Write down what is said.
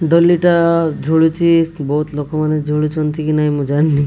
ଡୋଲିଟା ଝୁରୁଚି ବୋହୁତ ଲୋକମାନେ ଝୁଲୁଚନ୍ତି କି ନାହିଁ ମୁଁ ଜାଣିନି।